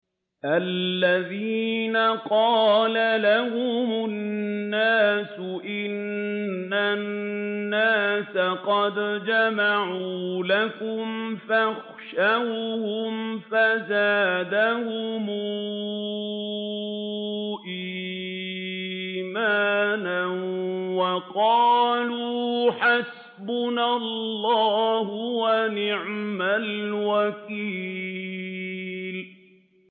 الَّذِينَ قَالَ لَهُمُ النَّاسُ إِنَّ النَّاسَ قَدْ جَمَعُوا لَكُمْ فَاخْشَوْهُمْ فَزَادَهُمْ إِيمَانًا وَقَالُوا حَسْبُنَا اللَّهُ وَنِعْمَ الْوَكِيلُ